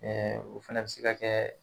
o fana bɛ se ka kɛ